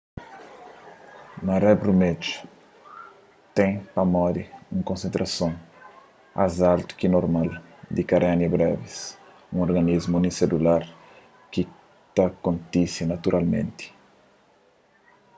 maré brumedju ten pamodi un konsentrason ás altu ki normal di karenia brevis un organismu uniselular ki ta kontise naturalmenti